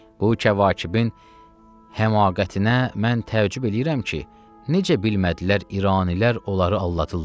Bu Kəvakibin həmaqətinə mən təəccüb eləyirəm ki, necə bilmədilər İranilər onları aldadırlar.